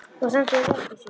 Þú stendur þig vel, Gissur!